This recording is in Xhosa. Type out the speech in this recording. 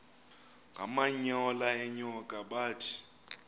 ngamanyal enyoka bathi